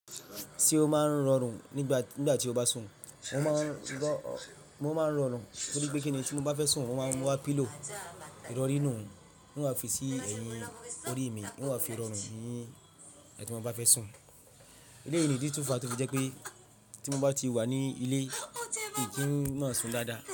Ṣé o máa ń rọrùn nígbà tí o bá sùn? Mo máa ń rọrùn torí pé kì ni tí mo bá fẹ́ sùn, mo máa ń wá pillow, ìrọrí nùú, n wà fi sí ẹ̀yìn orí mi, n wà fi rọrùn nì, tí mo bá fẹ́ sùn. Elèyí nìdí tí ó fa tó fi jẹ́ pé tí mo bá ti wà ní ilé, mi kí ń máa sùn dáadáa.